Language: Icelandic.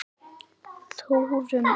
Þórunn Anna.